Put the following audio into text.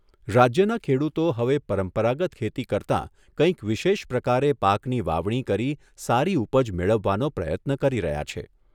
રાજ્યના ખેડુતો હવે પરંપરાગત ખેતી કરતા કંઈક વિશેષ પ્રકારે પાકની વાવણી કરી સારી ઉપજ મેળવવાનો પ્રયત્ન કરી રહ્યા છે.